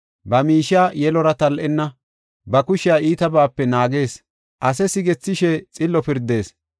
ba miishiya yelora tal7ena; ba kushiya iitabaape naagees; ase sigethishe xillo pirdees.